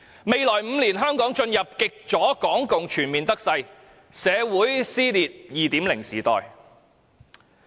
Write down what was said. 未來5年，香港將進入極左港共全面得勢而社會撕裂的 2.0 時代。